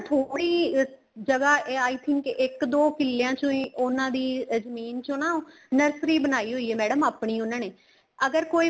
ਥੋੜੀ ਜਗ੍ਹਾ I think ਇੱਕ ਦੋ ਕਿੱਲਿਆਂ ਚੋ ਹੀ ਉਹਨਾ ਦੀ ਜ਼ਮੀਨ ਚੋ ਨਾ nursery ਬਣਾਈ ਹੋਈ ਏ madam ਆਪਣੀ ਉਹਨਾ ਨੇ ਅਗਰ ਕੋਈ